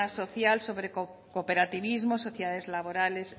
social sobre cooperativismo sociedades laborales